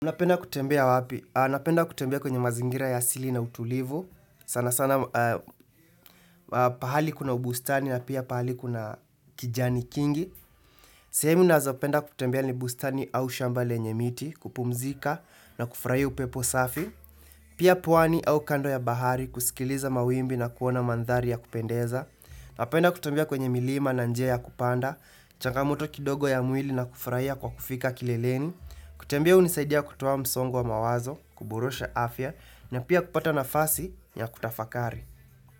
Unapenda kutembea wapi? Napenda kutembea kwenye mazingira ya asili na utulivu. Sana sana pahali kuna ubustani na pia pahali kuna kijani kingi. Sehemu nazopenda kutembea ni bustani au shamba lenye miti, kupumzika na kufurahia upepo safi. Pia pwani au kando ya bahari kusikiliza mawimbi na kuona mandhari ya kupendeza. Napenda kutembea kwenye milima na njia ya kupanda. Changamoto kidogo ya mwili na kufurahia kwa kufika kileleni. Kutembea hunisaidia kutuwa msongo wa mawazo. Kuburosha afya na pia kupata nafasi ya kutafakari.